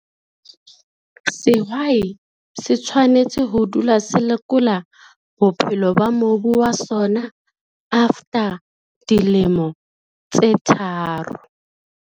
Sehwai se tshwanetse ho dula se lekola bophelo ba mobu wa sona, after dilemo tse tharo.